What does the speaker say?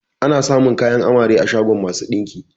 Ana samun kayan amare a shagon masu ɗinki